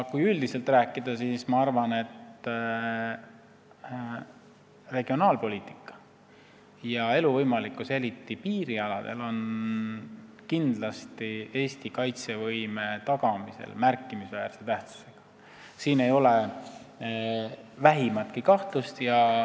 Kui üldiselt rääkida, siis ma arvan, et regionaalpoliitika ja elu võimalikkus eriti piirialadel on kindlasti Eesti kaitsevõime tagamisel märkimisväärse tähendusega, siin ei ole vähimatki kahtlust.